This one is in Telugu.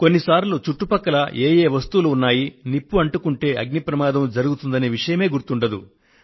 కొన్ని సార్లు చుట్టుపక్కల ఏ యే వస్తువులు ఉన్నాయి నిప్పు అంటుకుంటే అగ్ని ప్రమాదం జరుగుతుంది అనే విషయమే గుర్తుండదు